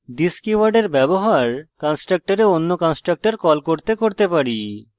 this কীওয়ার্ডের ব্যবহার কন্সট্রকটরে অন্য constructor call করতে করতে পারি